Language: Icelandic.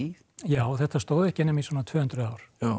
já þetta stóð ekki nema í svona tvö hundruð ár